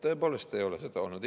Tõepoolest ei ole olnud!